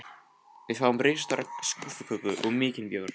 Við fáum risastóra skúffuköku og mikinn bjór.